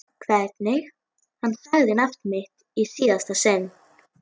Hvernig hann sagði nafnið mitt í síðasta sinn.